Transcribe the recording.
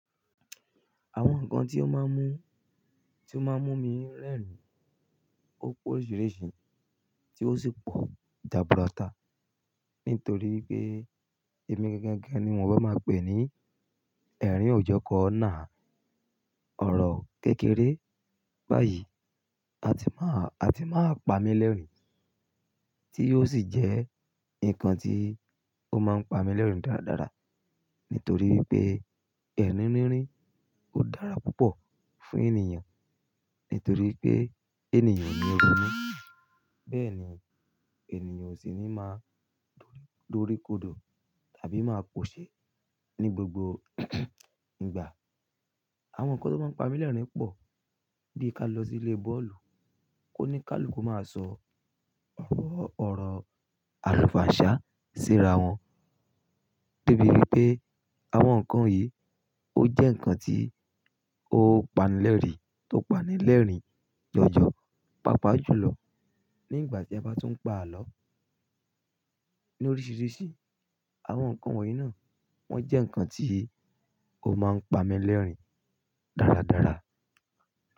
Àwọn nǹkan tí ó máa ń mú, tí ó máa ń mú mi rẹ́rìn-ín ó pé oríṣiríṣi tí ó sì pọ̀ jaburata. Nítorí pé èmi gan-gan gan ni wọ́n bá máa pè ní ẹ̀rín òjọ́kọ náà, ọ̀rọ̀ kékeré báyìí a ti máa, a ti máa pami lẹ́rìn-ín tí ó sì jẹ́ nǹkan tí ó máa ń pami lẹ́rìn-ín dáradára. Nítorí pé ẹ̀rín rínrín ó dára púpọ̀ fún ènìyàn. Nítorí pé ènìyàn oni ro nú, bẹ́ẹ̀ ni ènìyàn osì ní máa dóríkodò tàbí máa pòṣe ní gbogbo ìgbà. Àwọn nǹkan tó máa ń pami lẹ́rìn-ín pọ̀, bí ka lọ sí ilé bọ́ọ̀lù, kó ní káàlù kó máa sọ ọ̀rọ̀, ọ̀rọ̀ àlùfàǹsá síra wọn. Débi wipé àwọn nǹkan yìí ó jẹ́ nǹkan tí ó pani lẹ́rìn-ín, tó pani lẹ́rìn-ín jọ́jọ́, pàápàá jùlọ nígbà tí ẹ bá tún ń pa àlọ́ ní oríṣiríṣi. Àwọn nǹkan wọ̀nyí náà wọ́n jẹ́ nǹkan tí ó máa ń pami lẹ́rìn-ín dáradára.